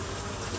Yolu boş qoy.